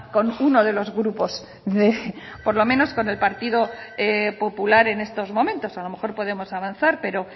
con uno de los grupos por lo menos con el partido popular en estos momentos a lo mejor podemos avanzar pero